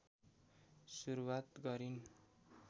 सुरुवात गरिन्